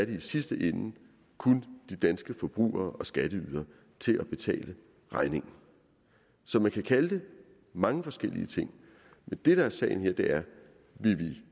i sidste ende kun de danske forbrugere og skatteydere til at betale regningen så man kan kalde det mange forskellige ting men det der er sagen her er vil vi